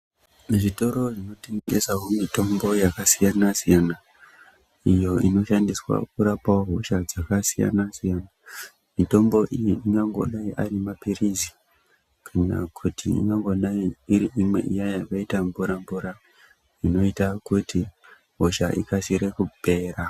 Muzvitoro zvinotengesawo mitombo yakasiyana siyana iyo inoshandiswawo kurapawo hosha dzakasiyana- siyana. Mitombo iyi ingangodai ari maphirizi kana kuti ingangodai iri iya yakaita mvura mvura inoita kuti hosha ikasire -kupera.